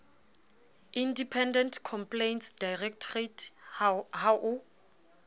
independent complaints directorate ha o